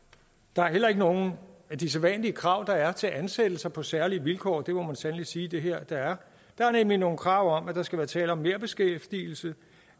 der er heller ikke nogen af de sædvanlige krav der er til ansættelser på særlige vilkår det må man sandelig sige at det her er der er nemlig nogle krav om at der skal være tale om merbeskæftigelse